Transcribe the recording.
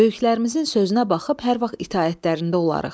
Böyüklərimizin sözünə baxıb hər vaxt itaətlərində olarıq.